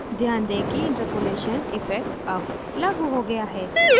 ध्यान दें कि interpolation इफ़ेक्ट अब लागू हो गया है